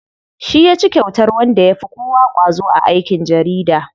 Shi yaci kyautar wanda yafi kowa ƙwazo a aikin jarida.